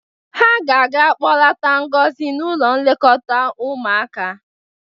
Ha ga-aga kpọlata Ngozi n´ụlọ nlekọta ụmụaka.